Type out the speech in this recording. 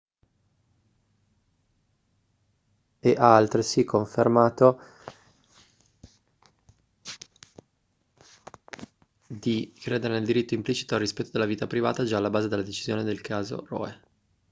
e ha altresì confermato di credere nel diritto implicito al rispetto della vita privata già alla base della decisione nel caso roe